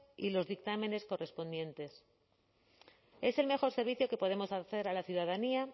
y los dictámenes correspondientes es el mejor servicio que podemos hacer a la ciudadanía